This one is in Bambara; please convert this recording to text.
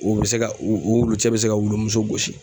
O be se ka o wulu cɛ be se ka wulumuso gosi